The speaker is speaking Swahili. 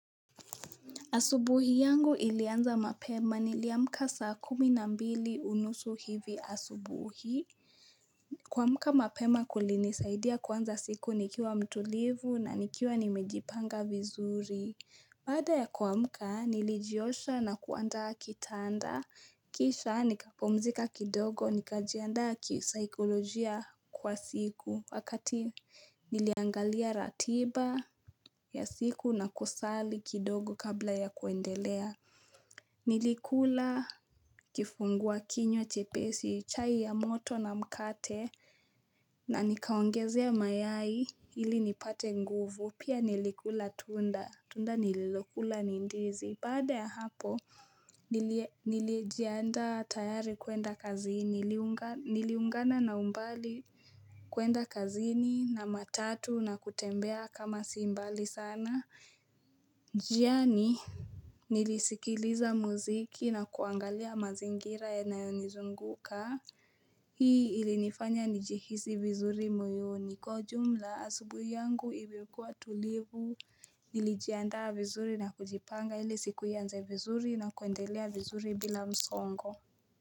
Asubuhi yangu ilianza mapema niliamka saa kumi na mbili unusu hivi asubuhi. Kuamka mapema kulinisaidia kuanza siku nikiwa mtulivu na nikiwa nimejipanga vizuri. Baada ya kuamka, nilijiosha na kuanda kitanda, kisha nikapumzika kidogo, nikajianda kisaikolojia kwa siku, wakati niliangalia ratiba ya siku na kusali kidogo kabla ya kuendelea. Nilikula kifungua kinywa chepesi, chai ya moto na mkate, na nikaongezea mayai ili nipate nguvu, pia nilikula tunda, tunda nililokula ni ndizi, baada ya hapo, nilie Nilijianda tayari kuenda kazini, niliungana na umbali kuenda kazini na matatu na kutembea kama simbali sana njiani nilisikiliza muziki na kuangalia mazingira yanayonizunguka Hii ilinifanya nijihisi vizuri moyoni. Kwa ujumla asubuhi yangu ilikuwa tulivu Nilijiandaa vizuri na kujipanga ili siku ianze vizuri na kuendelea vizuri bila msongo.